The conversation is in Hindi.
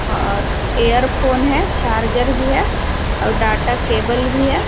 ओर एयर फोन है चार्जर भी है और डाटा केबल भी है।